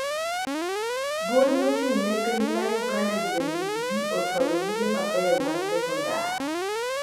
Duol mochung'ne penj ma Uganda (UNEB) ochwalo buge mabeyo mag sekondar.